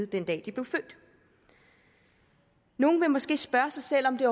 den dag de blev født nogle vil måske spørge sig selv om det